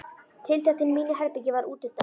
Tiltektin í mínu herbergi varð útundan.